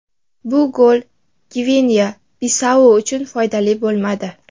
Bu gol Gvineya-Bisau uchun foydali bo‘lmadi.